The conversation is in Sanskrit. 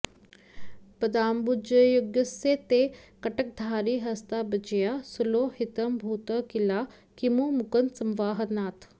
पदाम्बुजयुगस्य ते कटकधारिहस्ताब्जया सुलोहितमभूत् किला किमु मुकुन्द संवाहनात्